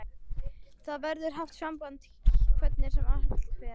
Það verður haft samband hvernig sem allt fer.